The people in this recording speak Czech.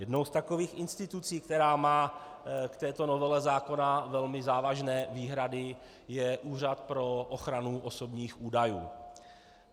Jednou z takových institucí, která má k této novele zákona velmi závažné výhrady, je Úřad pro ochranu osobních údajů.